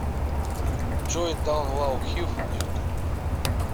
джой даун лоу хив на ютуб